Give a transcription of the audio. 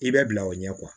I bɛ bila o ɲɛ